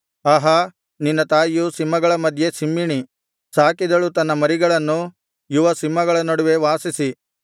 ಆಹಾ ನಿನ್ನ ತಾಯಿಯು ಸಿಂಹಗಳ ಮಧ್ಯೆ ಸಿಂಹಿಣಿ ಸಾಕಿದಳು ತನ್ನ ಮರಿಗಳನ್ನು ಯುವ ಸಿಂಹಗಳ ನಡುವೆ ವಾಸಿಸಿ